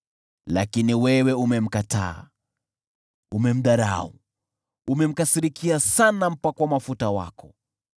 Lakini wewe umemkataa, umemdharau, umemkasirikia sana mpakwa mafuta wako.